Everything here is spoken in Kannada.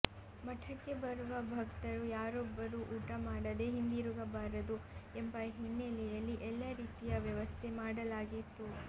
ಮಠಕ್ಕೆ ಬರುವ ಭಕ್ತರು ಯಾರೊಬ್ಬರೂ ಊಟ ಮಾಡದೆ ಹಿಂದಿರುಗಬಾರದು ಎಂಬ ಹಿನ್ನೆಲೆಯಲ್ಲಿ ಎಲ್ಲ ರೀತಿಯ ವ್ಯವಸ್ಥೆ ಮಾಡಲಾಗಿತ್ತು